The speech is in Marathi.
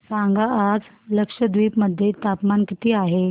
सांगा आज लक्षद्वीप मध्ये तापमान किती आहे